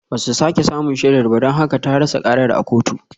Ba su sake samun shaidar ba don haka ta rasa karar a kotu